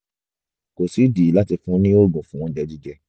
kò sídìí láti fún un ní oògùn fún oúnjẹ jíjẹ